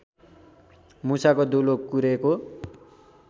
मुसाको दुलो कुरेको